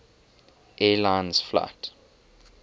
air lines flight